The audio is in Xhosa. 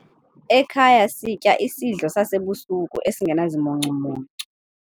Ekhaya sitya isidlo sasebusuku esingenazimuncumuncu.